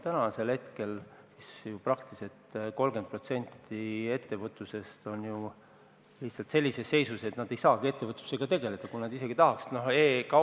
Praegu on praktiliselt 30% ettevõtlusest sellises seisus, et ei saagi ettevõtlusega tegeleda, isegi kui tahetaks.